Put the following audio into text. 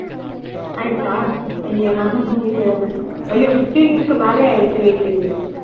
ஆயிடுச்சா ஐயையோ நானும் கவனிக்கவே இல்ல ஐயோ fifteen க்கு மேலயே ஆயிடுச்சு wait wait wait